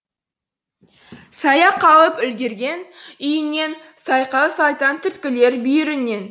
саяқ қалып үркердей үйіріңнен сайқал сайтан түрткілер бүйіріңнен